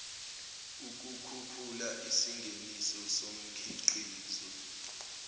ukukhuphula isingeniso somkhiqizo